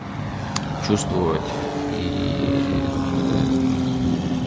чувствовать и